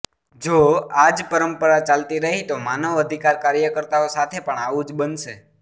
જો આ જ પરંપરા ચાલતી રહી તો માનવ અધિકાર કાર્યકર્તાઓ સાથે પણ આવું જ બનશે